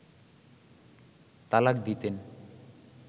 তালাক দিতেন